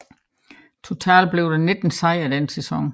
Totalt blev der 19 sejre den sæson